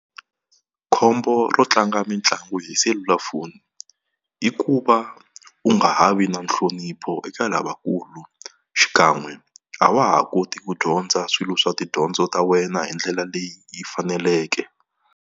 Khombo ro tlanga mitlangu hi selulafoni i ku va u nga ha vi na nhlonipho eka lavakulu xikan'we a wa ha koti ku dyondza swilo swa tidyondzo ta wena hi ndlela leyi faneleke.